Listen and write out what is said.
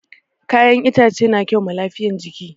Kayan itace na kyau ma lafiyan jiki